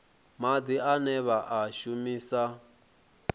madi ane vha a shumisa